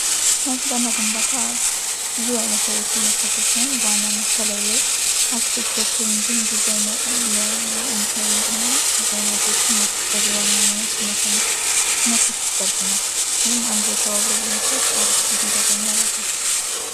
ስነ ህንፃ እና ግንባታ ብዙ ዓይነት ሰዎችን የሚያሳተፍ ሲሆን በዋናነት ከላይ ላይ አርክቴክቶችን እንዲሁም የኢንጂነሪንግ እና ዲዛይነሮችን በዋናነት የሚያሳትፍ ዘርፍ ነው ይህም አንድ ላይ ተባብሮ በመስራት አሪፍ ውጤት እንዲያገኙ ያደርጋቸዋል።